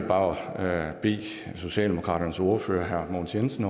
bare bede socialdemokratiets ordfører herre mogens jensen